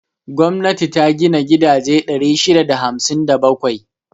Gwamnati ta gina gidaje 657.